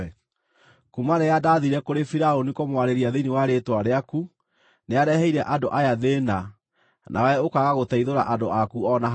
Kuuma rĩrĩa ndaathiire kũrĩ Firaũni kũmwarĩria thĩinĩ wa rĩĩtwa rĩaku, nĩareheire andũ aya thĩĩna, nawe ũkaaga gũteithũra andũ aku o na hanini.”